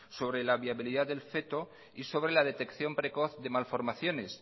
sobre la viabilidad del feto y sobre la detección precoz de malformaciones